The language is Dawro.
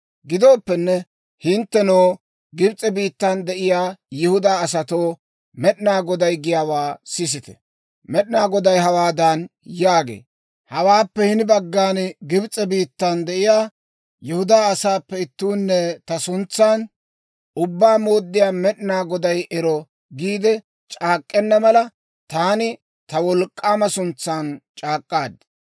«Gidooppenne, hinttenoo, Gibs'e biittan de'iyaa Yihudaa asatoo, Med'inaa Goday giyaawaa sisite! Med'inaa Goday hawaadan yaagee; ‹Hawaappe hini baggan Gibs'e biittan de'iyaa Yihudaa asaappe ittuunne ta suntsan, «Ubbaa Mooddiyaa Med'inaa Goday ero!» giide c'aak'k'enna mala, taani ta wolk'k'aama suntsan c'aak'k'aad.